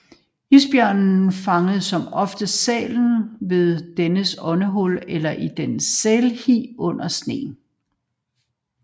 Isbjørnen fanger som oftest sælen ved dennes åndehul eller i dens sælhi under sneen